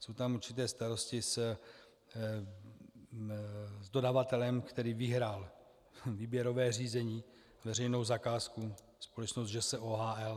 Jsou tam určité starosti s dodavatelem, který vyhrál výběrové řízení, veřejnou zakázku, společnost ŽS OHL.